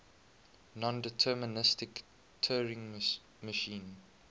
nondeterministic turing machine